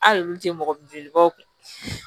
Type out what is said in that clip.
Hali olu tɛ mɔgɔ jolibaw kun